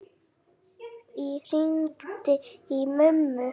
Ég hringdi í mömmu.